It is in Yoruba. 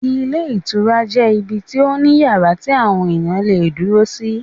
Ilé Ìtura jẹ́ ibi tí ó ní àwọn yàrá tí àwọn ènìyàn le è dúró sí